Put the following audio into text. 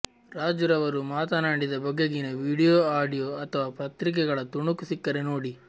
ರಾಜ್ ರವರು ಮಾತನಾಡಿದ ಬಗೆಗಿನ ವೀಡಿಯೊ ಆಡಿಯೋ ಅಥವ ಪತ್ರಿಕೆಗಳ ತುಣುಕು ಸಿಕ್ಕರೆ ನೋಡಿ